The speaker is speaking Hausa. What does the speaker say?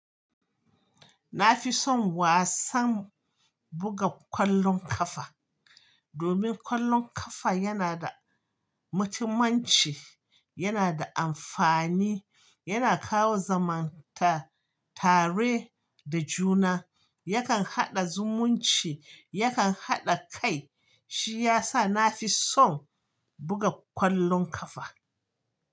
Na fi son wasan buga ƙwallon ƙafa, domin ƙwallon ƙafa yana da mutumanci, yana da amfani, yana kawo zamanta tare da juna, yakan haɗa zumunci, yakan haɗa kai. Shi ya sa na fi son buga ƙwallon ƙafa.